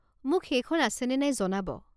মোক সেইখন আছে নে নাই জনাব।